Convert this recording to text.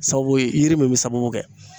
Sababu ye yiri min bɛ sababu kɛ